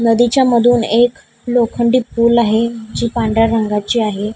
नदीच्या मधून एक लोखंडी पूल आहे जी पांढऱ्या रंगाची आहे.